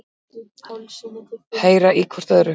Heyra í hvort öðru.